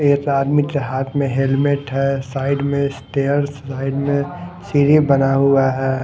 एक आदमी के हाथ में हेलमेट है साइड में स्टेयर्स साइड में सीढ़ी बना हुआ है।